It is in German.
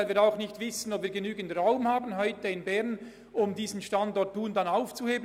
Denn wir wissen auch nicht, ob wir in Bern genügend Raum hätten, um den Standort Thun aufzulösen.